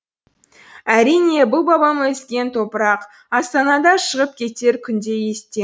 әрине бұл бабам өскен топырақ астанада шығып кетер күнде естен